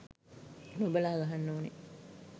නොබලා ගහන්න ඕන.